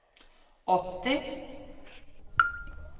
åtti